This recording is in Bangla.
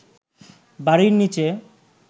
বাড়ির নীচে